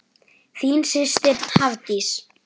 Þín systir, Hafdís.